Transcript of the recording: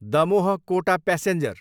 Damoh, Kota passenger